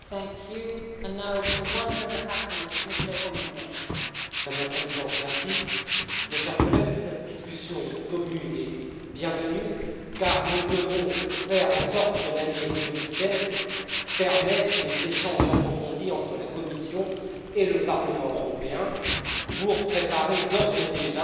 Madame la Présidente, mes chers collègues, cette discussion commune est bienvenue car nous devons faire en sorte que l'année 2016 permette de procéder à des échanges approfondis entre la Commission et le Parlement européen pour préparer, d'ores et déjà, les futurs règlements post 2020,